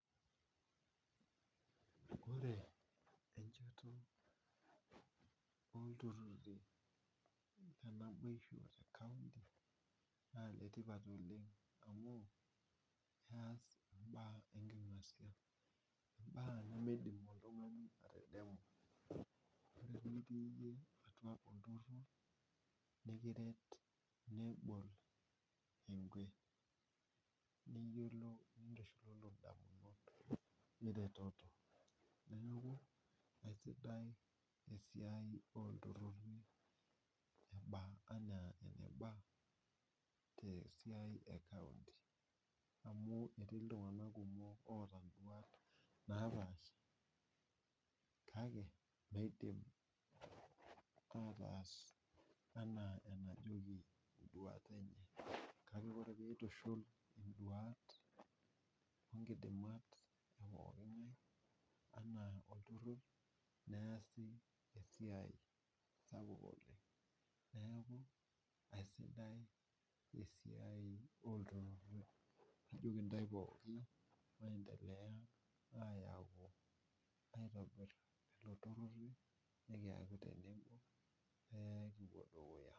Ore enchoto oltururri lenaibosho te county na letipat oleng' amu keas mbaa enking'asia. Mbaa nimidm oltung'ani atadamu tenitii iyie atua olturur nikiretnebol niyiolo niretoto neaku esidai esiai oltururi ana enabaa tesia ecounty amu etii ltunganak kumok oota nduata enye kake eidim ataas ana enejoki nduat enye kake ore peitushul induat onkidikat epuoki ngae ana olturur neasi esiai sidai oleng neaku aisidai esiai oltururi ajoki ntae pookin maendelea aitobir lturururi nikaiku tenebopekipuo dukuya.